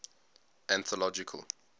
anthological